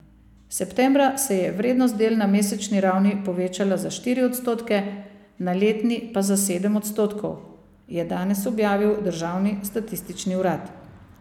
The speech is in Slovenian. Septembra se je vrednost del na mesečni ravni povečala za štiri odstotke, na letni pa za sedem odstotkov, je danes objavil državni statistični urad.